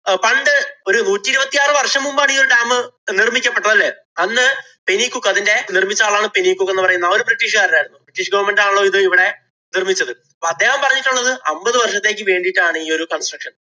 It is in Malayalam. പണ്ട് ഒരു നൂറ്റി ഇരുപത്തിയാറ് വര്‍ഷം മുമ്പാണ് ഈ dam നിര്‍മ്മിക്കപ്പെട്ടത് അല്ലേ? അന്ന് പെനികൂക്ക് അതിന്‍റെ നിര്‍മ്മിച്ച ആളാണ് പെനികുക്ക് എന്ന് പറയുന്നത് അവരും British കാരനായിരുന്നു. British government ആണല്ലോ ഇത് ഇവിടെ നിര്‍മ്മിച്ചത്. അപ്പൊ അദ്ദേഹം പറഞ്ഞിട്ടുള്ളത് അമ്പതു വര്‍ഷത്തേക്ക് വേണ്ടീട്ടാണ് ഇയൊരു construction.